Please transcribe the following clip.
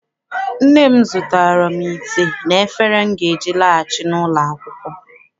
Nne m zụtaara m ite na efere m ga-eji laghachi n'ụlọ akwụkwọ.